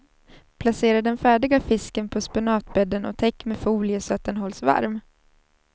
Placera den färdiga fisken på spenatbädden och täck med folie så att den hålls varm.